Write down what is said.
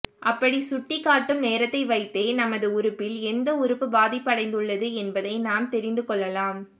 அப்படி சுட்டிக்காட்டும் நேரத்தை வைத்தே நமது உறுப்பில் எந்த உறுப்பு பாதிப்படைந்துள்ளது என்பதை நாம் தெரிந்துக் கொள்ளலாம்